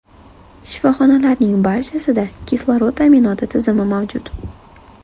Shifoxonalarning barchasida kislorod ta’minoti tizimi mavjud.